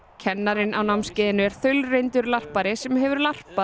kennarinn á námskeiðinu er þaulreyndur larpari sem hefur